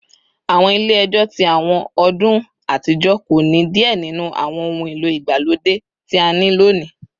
Awọn ile-ẹjọ ti awọn ọdun atijọ ko ni diẹ ninu awọn ohun elo igbalode ti a ni loni